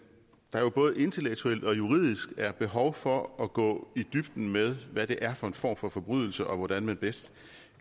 jo både intellektuelt og juridisk er behov for at gå i dybden med hvad det er for en form for forbrydelse og hvordan man bedst